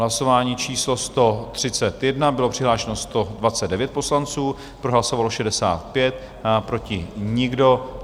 Hlasování číslo 131, bylo přihlášeno 129 poslanců, pro hlasovalo 65, proti nikdo.